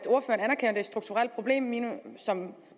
det er et strukturelt problem i